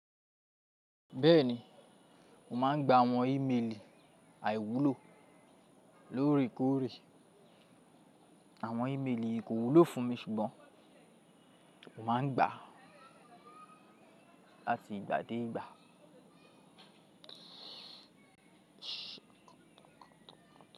Bẹ́ẹ̀ni, mo máà ń gba àwọn ímelì àìwúlò lórekòrè. Àwọn ímelì yì kòwúlò fún mi ṣùgbọ́n mo máa ń gbà láti ìgbà dé ìgbà.